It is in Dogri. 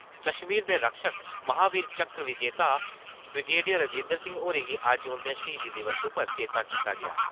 कश्मीर दे रक्षक, महावीर चक्र विजेता ब्रिगेडियर राजेन्द्र सिंह होरें गी अज्ज उन्दे श्हीदी दिवस उप्पर चेत्ता कीता गेआ।